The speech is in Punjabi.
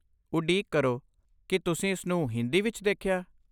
ਉਡੀਕ ਕਰੋ, ਕੀ ਤੁਸੀਂ ਇਸਨੂੰ ਹਿੰਦੀ ਵਿੱਚ ਦੇਖਿਆ?